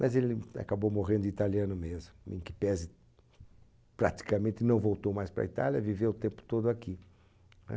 Mas ele acabou morrendo de italiano mesmo, em que pese praticamente não voltou mais para a Itália, viveu o tempo todo aqui.